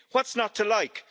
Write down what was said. What's not to like?